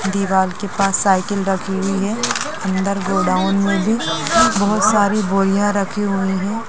दीवार के पास साइकिल रखी हुई है अंदर गोडाउन में भी बहुत सारी बोरियाँ रखी हुई हैं।